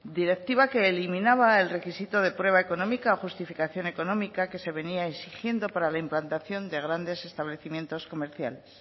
directiva que eliminaba el requisito de prueba económica o justificación económica que se venía exigiendo para la implantación de grandes establecimientos comerciales